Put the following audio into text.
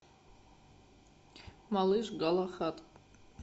малыш галахад